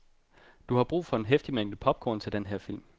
Du har brug for en heftig mængde popcorn til den her film.